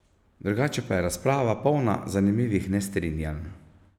Drugače pa je razprava polna zanimivih nestrinjanj.